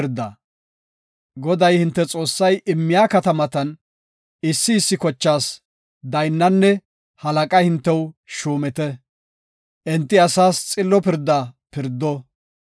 Goday, hinte Xoossay immiya katamatan issi issi kochaas daynnanne halaqa hintew shuumite; enti asaas xillo pirda pirdo.